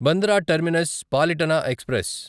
Bandra terminus Palitana express